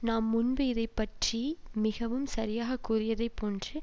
நாம் முன்பு இதை பற்றி மிகவும் சரியாக கூறியதைப் போன்று